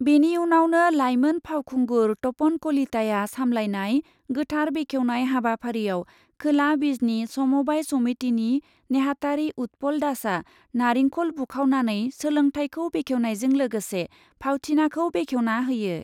बेनि उनावनो लाइमोन फावखुंगुर तपन कलिताया सामलायनाय गोथार बेखेवनाय हाबाफारियाव खोला बिजनी समबाइ समिटिनि नेहाथारि उतपल दासआ नारिंखल बुखावनानै सोलोंथायखौ बेखेवनायजों लोगोसे फावथिनाखौ बेखेवना होयो।